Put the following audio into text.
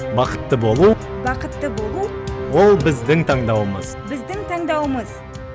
бақытты болу бақытты болу ол біздің таңдауымыз біздің таңдауымыз